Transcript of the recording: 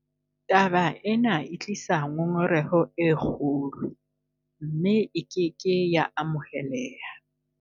Taba ena e tlisa ngongoreho e kgolo, mme e ke ke ya amoheleha.